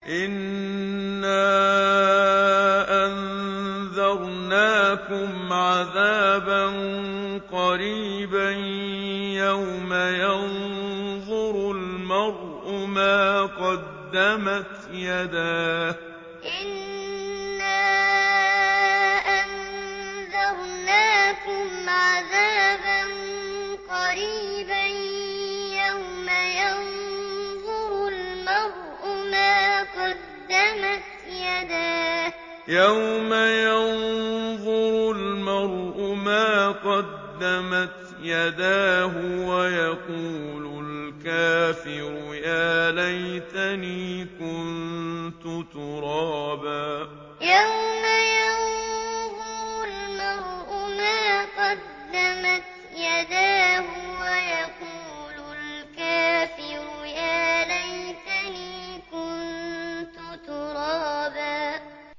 إِنَّا أَنذَرْنَاكُمْ عَذَابًا قَرِيبًا يَوْمَ يَنظُرُ الْمَرْءُ مَا قَدَّمَتْ يَدَاهُ وَيَقُولُ الْكَافِرُ يَا لَيْتَنِي كُنتُ تُرَابًا إِنَّا أَنذَرْنَاكُمْ عَذَابًا قَرِيبًا يَوْمَ يَنظُرُ الْمَرْءُ مَا قَدَّمَتْ يَدَاهُ وَيَقُولُ الْكَافِرُ يَا لَيْتَنِي كُنتُ تُرَابًا